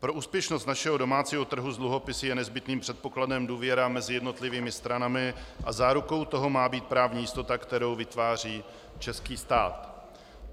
Pro úspěšnost našeho domácího trhu s dluhopisy je nezbytným předpokladem důvěra mezi jednotlivými stranami a zárukou toho má být právní jistota, kterou vytváří český stát.